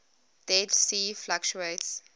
dead sea fluctuates